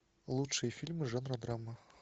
лучшие фильмы жанра драма